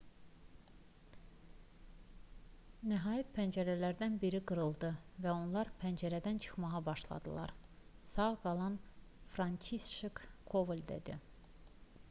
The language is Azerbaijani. nəhayət pəncərələrdən biri qırıldı və onlar pəncərədən çıxmağa başladılar sağ qalan françişek koval dedi